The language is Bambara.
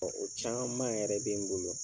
O caman yɛrɛ bɛ n bolo.